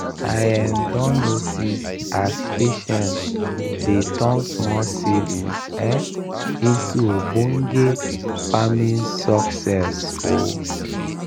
i um don notice as patience dey turn small savings um into ogbonge farming success. um